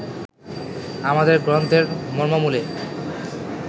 আমাদের গ্রন্থের মর্মমূলে